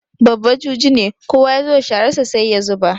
Babba juji ne, kowa ya zo da shararsa sai ya zuba.